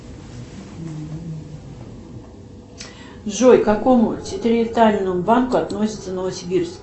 джой к какому территориальному банку относится новосибирск